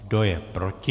Kdo je proti?